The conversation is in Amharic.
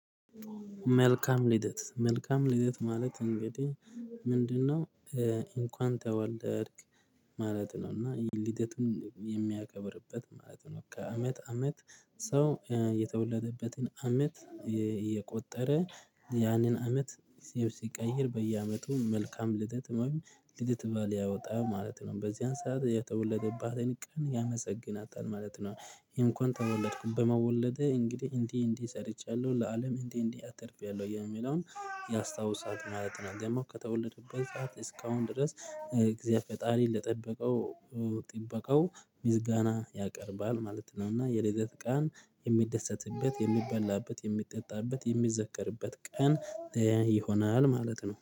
መልካም ልደት መልካም ልደት ማለት እንግዲህ ምንድነው? እንኳን ተወለድክ ማለት ነው እና ልደትም የሚያከብርበት ማለት ነው። ከዐመት ዐመት ሰው የተወለደበትን ዐመት እየቆጠረ ያንን ዐመት ሲቀይር በየዐመቱ መልካም ልደት ልደት በዓል ያወጣል ማለት ነው በዚያን ሰዓት የተወለደባትን ቀን ያመሰግናታል ማለት ነው። ይሄን እንኳን ተወለድኩ በመወለዴ እንግዲህ እንዲህ እንዲህ ሰርቻለሁ ለአለም እንዲህ እንዲህ አትርፌያለሁ የሚለውን ያስታውሳት ነው ማለት ነው። ከተወለደበት ሰዓት እስካሁን ድረስ እግዚአብሔር ፈጣሪ ለጠበቀው ጥበቃው ምስጋና ያቀርባል ማለት ነው። እና የልደት ቀን የሚደሰትበት የሚበላበት የሚጠጣበት የሚዘከርበት ቀን ይሆናል ማለት ነው